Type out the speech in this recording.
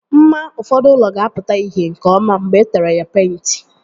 Mma ụfọdụ ụlọ ga-apụta ìhè nke ọma mgbe etere ya agba peịnti